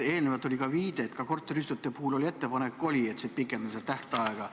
Enne oli viide, et ka korteriühistute puhul oli ettepanek pikendada seda tähtaega.